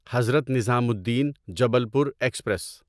Hazrat Nizamuddin Jabalpur express